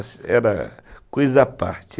Os estudos eram coisa à parte.